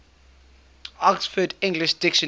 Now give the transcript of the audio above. oxford english dictionary